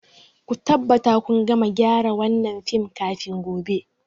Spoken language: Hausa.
Ku tabbata kun gama gyara wannan fim kafin gobe.